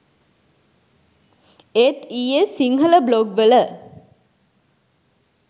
ඒත් ඊයේ සිංහල බ්ලොග් වල